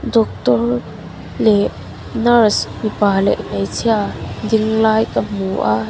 doctor leh nurse mipa leh hmeichhia ding lai ka hmu a.